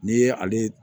N'i ye ale